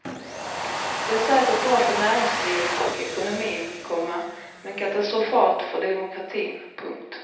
Det är säkert bra för näringslivet och ekonomin, komma men katastrofalt för demokratin. punkt